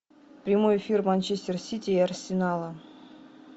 прямой эфир манчестер сити и арсенала